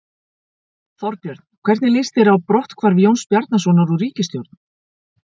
Þorbjörn: Hvernig líst þér á, á brotthvarf Jóns Bjarnasonar úr ríkisstjórn?